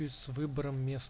выбор